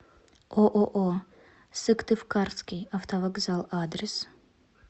ооо сыктывкарский автовокзал адрес